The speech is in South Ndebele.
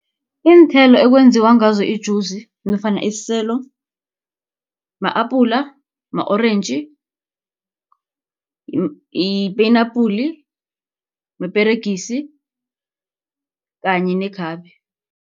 Iinthelo ekwenziwa ngazo ijuzi, nofana isiselo, ma-apula, ama-orentji, yipenapuli, neperegisi kanye nekhabe.